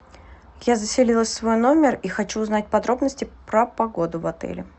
я заселилась в свой номер и хочу узнать подробности про погоду в отеле